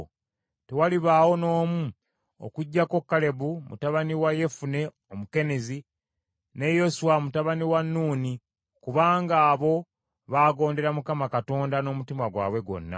tewalibaawo n’omu okuggyako Kalebu mutabani wa Yefune Omukenizi , ne Yoswa mutabani wa Nuuni, kubanga abo baagondera Mukama Katonda n’omutima gwabwe gwonna.’